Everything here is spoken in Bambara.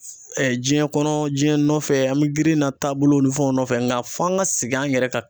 diɲɛ kɔnɔ diɲɛ nɔfɛ an be girin na taa bolo ni fɛnw nɔfɛ. Nga f'an ka segin an yɛrɛ ka